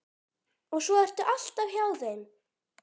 Og svo ertu alltaf hjá þeim.